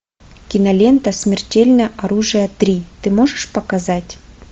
кинолента смертельное оружие три ты можешь показать